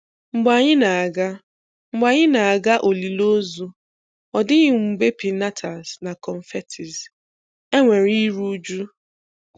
Mgbe anyị na-aga Mgbe anyị na-aga olili ozu, ọ dịghị mgbe piñatas na confetti. Enwere iru uju.